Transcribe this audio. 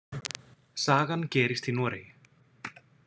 Sagan gerist í Noregi.